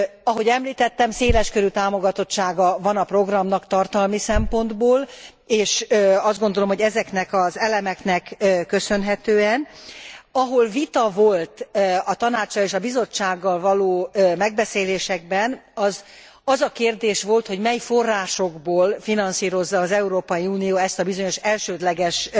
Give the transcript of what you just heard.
Ahogy említettem, széles körű támogatottsága van a programnak tartalmi szempontból, és azt gondolom, hogy ezeknek az elemeknek köszönhetően, ahol vita volt a Tanáccsal és a Bizottsággal való megbeszéléseken, az az a kérdés volt, hogy mely forrásokból finanszírozza az Európai Unió ezt a bizonyos elsődleges